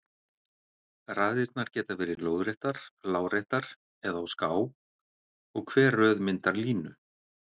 Raðirnar geta verið lóðréttar, láréttar eða á ská og hver röð myndar línu.